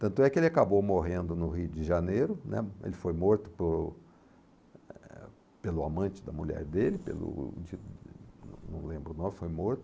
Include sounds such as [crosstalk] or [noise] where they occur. Tanto é que ele acabou morrendo no Rio de Janeiro, né, ele foi morto por, eh, pelo amante da mulher dele, pelo [unintelligible] não lembro o nome, foi morto.